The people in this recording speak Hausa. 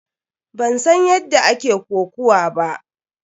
Ban san yadda ake kokuwa ba.